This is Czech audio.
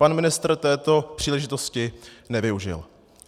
Pan ministr této příležitosti nevyužil.